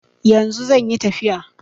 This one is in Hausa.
Yanzu zanyi tafiya